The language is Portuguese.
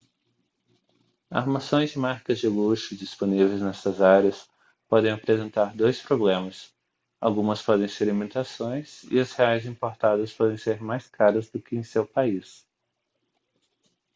armações de marcas de luxo disponíveis nestas áreas podem apresentar dois problemas algumas podem ser imitações e as reais importadas podem ser mais caras do que em seu país